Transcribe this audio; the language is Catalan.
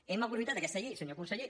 hem aprofitat aquesta llei senyor conseller